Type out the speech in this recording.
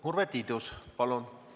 Urve Tiidus, palun!